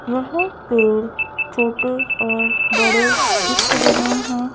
यह पेड़ छोटे और बड़े दिख रहे है।